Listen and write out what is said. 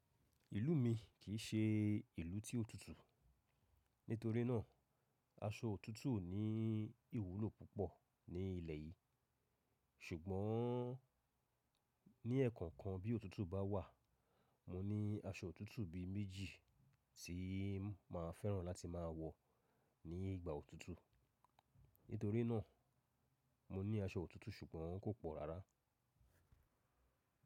Ìlú mi kìí ṣe ìlú tí ó tutù. Nítorí náà, aṣọ òtútù ò ní ìwúlò púpọ̀ ní ilẹ̀ yìí. Ṣùgbọ́n ní ẹ̀ẹ̀kọ̀kan bí òtútù bá wà, mo ní aṣọ òtútù bí méjì tí máa fẹ́ràn láti máa wọ̀ ní ìgbà òtútù. Nítorí náà, mo ní aṣọ òtútù ṣùgbọ́n kò pọ̀ rárá.